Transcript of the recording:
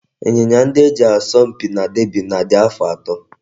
Ịnyịnya ndị e ji asọ mpi na derby race na-adị afọ atọ